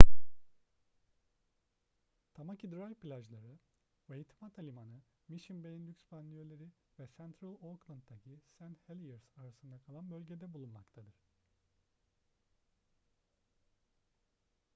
tamaki drive plajları waitemata limanı mission bay'in lüks banliyöleri ve central auckland'daki st heliers arasında kalan bölgede bulunmaktadır